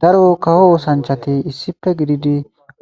daro kaho oosanchati issife gididi